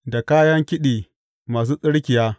Da kayan kiɗi masu tsirkiya.